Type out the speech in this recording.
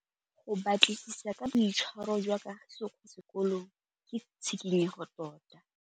Go batlisisa ka boitshwaro jwa Kagiso kwa sekolong ke tshikinyêgô tota.